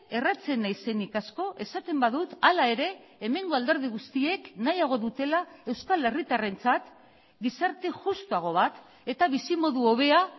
erratzen naizenik asko esaten badut hala ere hemengo alderdi guztiek nahiago dutela euskal herritarrentzat gizarte justuago bat eta bizimodu hobea